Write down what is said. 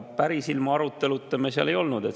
Päris ilma aruteluta me seal ei olnud.